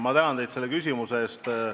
Ma tänan teid selle küsimuse eest!